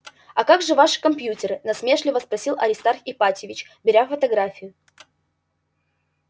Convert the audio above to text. а как же ваши компьютеры насмешливо спросил аристарх ипатьевич беря фотографию